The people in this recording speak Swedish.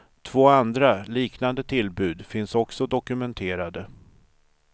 Två andra, liknande tillbud finns också dokumenterade.